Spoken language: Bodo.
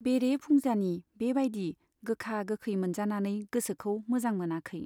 बेरे फुंजानि बे बाइदि गोखा गोखै मोनजानानै गोसोखौ मोजां मोनाखै।